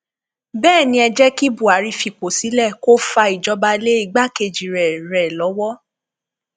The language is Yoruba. bẹẹ ni ẹ jẹ kí buhari fipò sílẹ kó fa ìjọba lé igbákejì rẹ rẹ lọwọ